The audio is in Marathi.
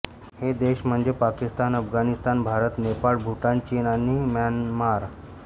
हे देश म्हणजे पाकिस्तान अफगाणिस्तान भारत नेपाळ भूतान चीन आणि म्यानमार